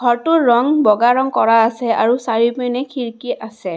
ঘৰটোৰ ৰঙ বগা ৰঙ কৰা আছে আৰু চাৰিওপিনে খিৰিকী আছে।